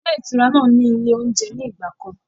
Ilé ìtura náà ni ilé oúnjẹ ní ìgbàkan.